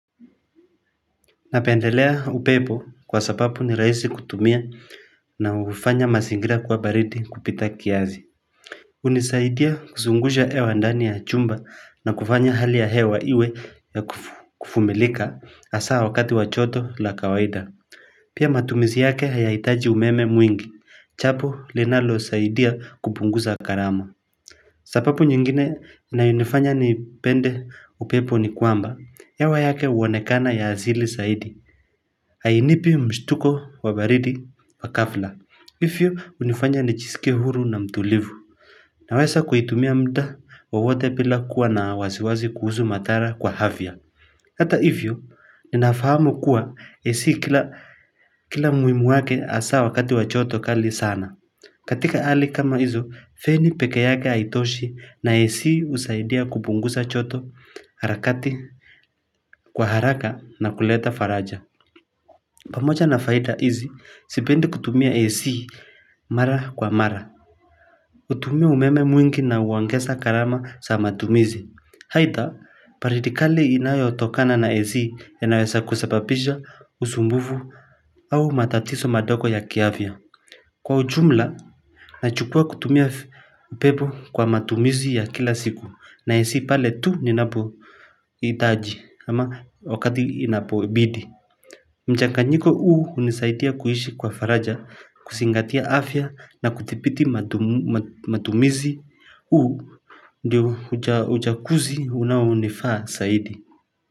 Napendelea upepo kwa sababu ni raisi kutumia, na hufanya mazingira kuwa baridi kupita kiasi hunisaidia kuzungusha hewa ndani ya chumba, na kufanya hali ya hewa iwe ya kuvumilika haswa wakati wajoto la kawaida Pia matumizi yake hayahitaji umeme mwingi, japo linalo saidia kupunguza gharama sababu nyingine inayonifanya ni pende upepo ni kwamba, hewa yake huonekana ya asili zaidi hainipi mshtuko wa baridi wa ghafla Hivyo hunifanya nijiiskie huru na mtulivu Naweza kuitumia mda wowote bila kuwa na wasiwasi kuhusu madhara kwa afya Hata hivyo ninafahamu kuwa AC kila muhimu wake asa wakati wa joto kali sana, katika hali kama hizo feni pekeyake haitoshi na AC husaidia kupunguza joto harakati kwa haraka na kuleta faraja pamoja na faida hizi, sipendi kutumia AC mara kwa mara. Hutumia umeme mwingi na huongeza gharama za matumizi. Aidha, baridi kali inayo tokana na AC inaweza kusababisha usumbufu au matatizo madogo ya kiafya. Kwa ujumla, nachukua kutumia pebo kwa matumizi ya kila siku. Na AC pale tu ninapo itaji ama wakati inapoibidi. Mjakanjiko uu hunisaitia kuhishi kwa faraja, kusingatia afya na kutipiti matumizi. Uu ndio ujakuzi unaonifaa saidi.